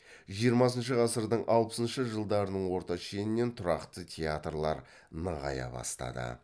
жиырмасыншы ғасырдың алпысыншы жылдарының орта шенінен тұрақты театрлар нығая бастады